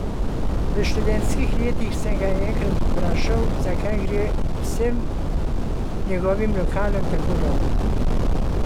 V študentskih letih sem ga enkrat vprašal, zakaj gre vsem njegovim lokalom tako dobro.